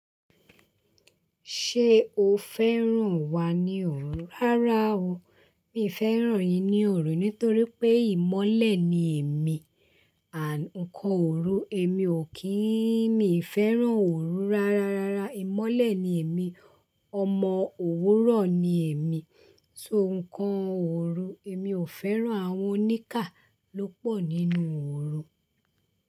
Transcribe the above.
Ṣé o fẹ́ràn wa ní òru? Rárá o, mi ò fẹ́ràn yín ní òru nítorí pé ìmọ́lẹ̀ ni èmi, àń nkan òru, èmi ò kí ń, mi ò fẹ́ràn òru rárá, rárá ìmọ́lẹ̀ ni èmi, ọmọ òwúrọ̀ ni èmi, so nǹkan òru, èmi ò fẹ́ràn àwọn oníkà ló pọ̀ nínú òru.